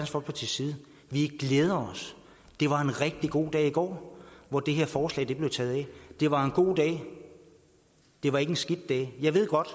folkepartis side glæder os det var en rigtig god dag i går hvor det her forslag blev taget af det var en god dag det var ikke en skidt dag jeg ved godt